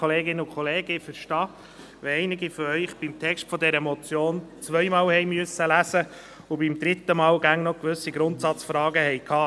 Ich verstehe, wenn einige von Ihnen den Text dieser Motion zweimal lesen musste und beim dritten Mal immer noch gewisse Grundsatzfragen hatten.